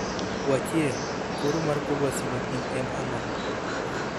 wachie, koro mar kor lwasi makiny en ang'o